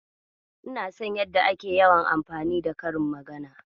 Ina so yadda yake yawan anfani da karin magana.